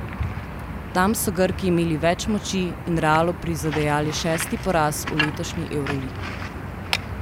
Tam so Grki imeli več moči in Realu prizadejali šesti poraz v letošnji evroligi.